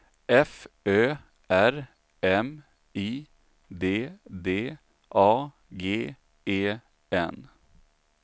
F Ö R M I D D A G E N